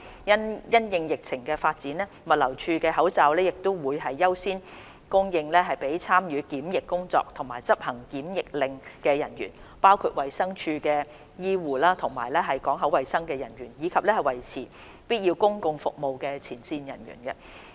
因應疫情發展，物流署的口罩會優先供應給參與檢疫工作和執行檢疫令的人員，包括衞生署的醫護及港口衞生人員；以及維持必要公共服務的前線人員。